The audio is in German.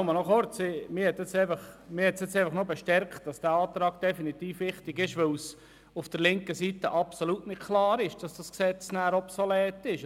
Mich haben die Voten darin bestärkt, dass dieser Antrag wichtig ist, weil es auf der linken Seite absolut nicht klar ist, dass das Gesetz dann obsolet wird.